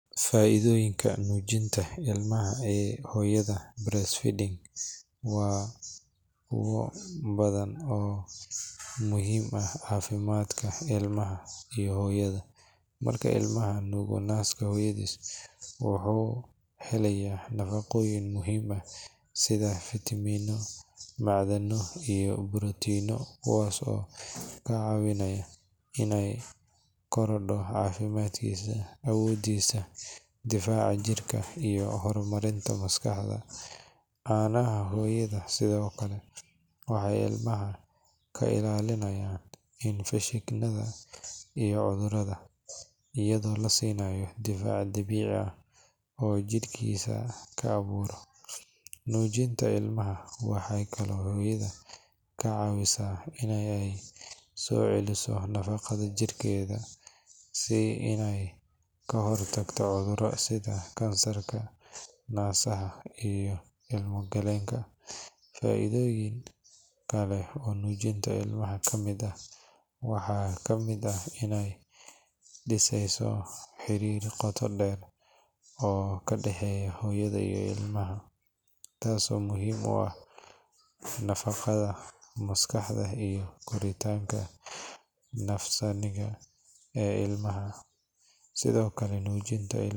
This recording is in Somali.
Faa’iidooyinka nuujinta ilmaha ee hooyada (breastfeeding) waa kuwo badan oo muhiim u ah caafimaadka ilmaha iyo hooyada. Marka ilmuhu nuugo naaska hooyadiis, wuxuu helayaa nafaqooyin muhiim ah sida fiitamiinno, macdano, iyo borotiino, kuwaas oo ka caawinaya inay korodho caafimaadkiisa, awoodiisa difaaca jirka, iyo hormarinta maskaxda. Caanaha hooyada sidoo kale waxay ilmaha ka ilaalinayaan infekshannada iyo cudurrada, iyadoo la siinayo difaac dabiici ah oo jidhkiisu ka abuuro. Nuujinta ilmaha waxay kaloo hooyada ka caawineysaa in ay soo celiso nafaqada jidhkeeda iyo inay ka hortagto cudurrada sida kansarka naasaha iyo ilmo-galeenka. Faa’iidooyin kale oo nuujinta ilmaha ka mid ah waxaa ka mid ah in ay dhiseyso xiriir qoto dheer oo ka dhaxeeya hooyada iyo ilmaha, taasoo muhiim u ah nafaqada maskaxda iyo koritaanka nafsaaniga ah ee ilmaha. Sidoo.